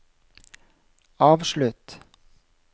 avslutt